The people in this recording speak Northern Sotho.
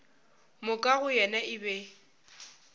moka go yena e be